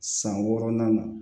San wɔɔrɔnan na